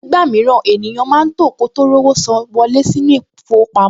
Nígbà mìíràn, ènìyàn máa tò kó tó rówó san wọlé sí ilé-ìfowópamọ́